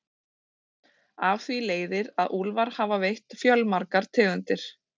Af því leiðir að úlfar hafa veitt fjölmargar tegundir.